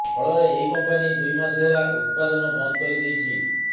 ଫଳରେ ଏହି କମ୍ପାନି ଦୁଇ ମାସ ହେଲା ଉତ୍ପାଦନ ବନ୍ଦ କରି ଦେଇଛି